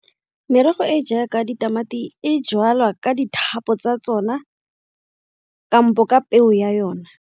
Merogo e e jaaka ditamati e jwalwa ka dithapo tsa tsona kampo ka peo ya yona.